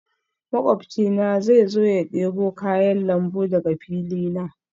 Makwabcina zai zo ya debo kayan lambu daga fili na